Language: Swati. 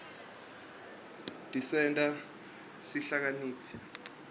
tisenta sihlakanipite